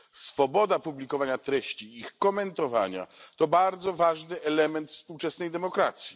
Swoboda publikowania treści i ich komentowania to bardzo ważny element współczesnej demokracji.